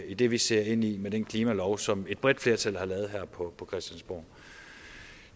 i det vi ser ind i med den klimalov som et bredt flertal her på christiansborg